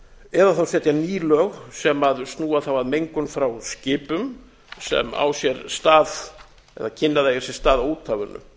eða setja nú lög sem snúa á að mengun frá skipum sem á sér stað eða kynni að eiga sér stað á úthafinu